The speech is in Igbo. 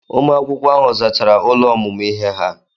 Ụmụ akwụkwọ ahụ zachara ụlọ ọmụmụ ihe ha.